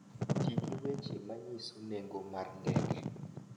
Ti gi weche ma nyiso nengo mar ndege.